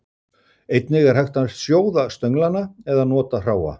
einnig er hægt að sjóða stönglana eða nota hráa